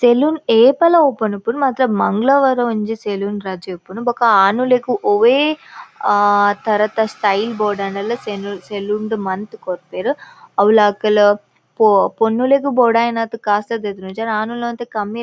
Salon ಏಪಲ open ಉಪ್ಪುಂಡು ಮಾತ್ರ ಮಂಗಳವಾರ ಒಂಜಿ ಸೆಲೂನ್ ರಜೆ ಉಪ್ಪುಂಡು ಬೊಕ್ಕ ಆನುಲೆಗ್ ಒವ್ವೆ ಆ ಥರತ ಸ್ಟೈಲ್ ಬೊಡಾಂಡಲ ಸೆನು ಸೆಲೂನ್ ಡ್ ಮಲ್ತ್ ಕೊರ್ಪೆರ್ ಅವ್ಲಾ ಅಕುಲ್ ಪೊ ಪೊಣ್ಣುಲೆಗ್ ಬೊಡಾಯಿನಾತ್ ಕಾಸ್ ಲ ದೆತೊನುಜೆರ್ ಆಣುಲ್ನ ಒಂತೆ ಕಮ್ಮಿಯೆ.